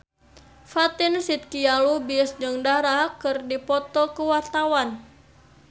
Fatin Shidqia Lubis jeung Dara keur dipoto ku wartawan